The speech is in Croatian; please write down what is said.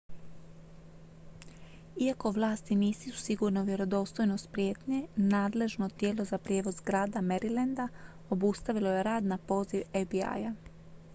iako vlasti nisu sigurne u vjerodostojnost prijetnje nadležno tijelo za prijevoz grada marylanda obustavilo je rad na poziv fbi-a